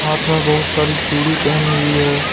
हाथ में बहुत सारी चूड़ी पहनी हुई है।